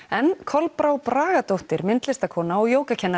en Kolbrá Bragadóttir myndlistarkona og